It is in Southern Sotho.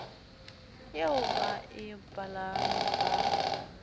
eo ba e balang ba